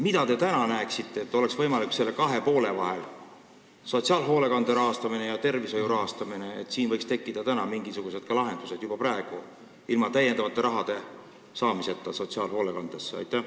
Mida teie arvates oleks võimalik praegu teha nende kahe poole ühendamiseks, sotsiaalhoolekande rahastamine ja tervishoiu rahastamine, et võiksid tekkida mingisugused lahendused juba praegu, ilma täiendava raha andmiseta sotsiaalhoolekandele?